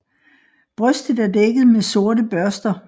Brystet er dækket med sorte børster